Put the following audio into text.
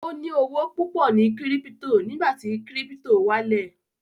Ó ní owó púpọ̀ ní kírípítò ní ìgbà tí kírípítò wálẹ̀